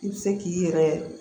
I bɛ se k'i yɛrɛ